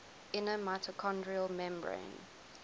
inner mitochondrial membrane